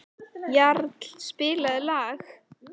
Jarl, spilaðu lag.